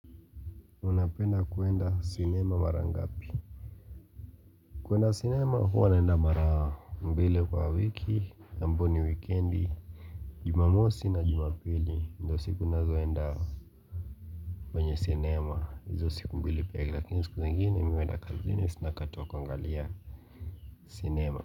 Unapenda kuenda sinema mara ngapi? Kuenda sinema huwa naenda mara mbili kwa wiki ambao ni wikendi, jumamosi na jumapili ndio siku ninazoenda kwenye sinema. Hizo siku mbili pekee lakini siku zingine mimi huenda kazini sina wakati wa kuangalia sinema.